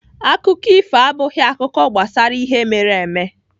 Akụkọ ifo abụghị akụkọ gbasara ihe mere eme.